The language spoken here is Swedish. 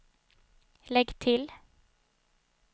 lägg till